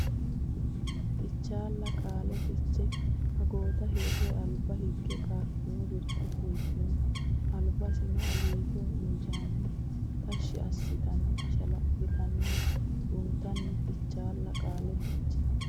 Fichaalla Qaale Fiche agooda hirre alba higge qaaffino birxe fultino albissino alliitanno injiitanno tashshi assitanno ashala litanno runtanno Fichaalla Qaale Fiche.